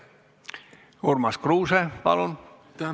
Urmas Kruuse, palun!